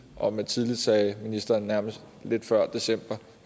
og med tidligt sagde ministeren nærmest lidt før december